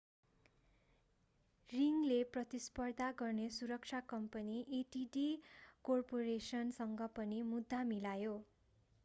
रिङले प्रतिस्पर्धा गर्ने सुरक्षा कम्पनी adt कर्पोरेसनसँग पनि मुद्दा मिलायो